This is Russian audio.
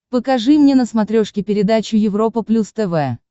покажи мне на смотрешке передачу европа плюс тв